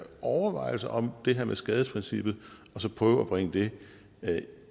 overvejelser om det her med skadesprincippet og så prøve at bringe det